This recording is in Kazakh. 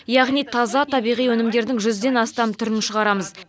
яғни таза табиғи өнімдердің жүзден астам түрін шығарамыз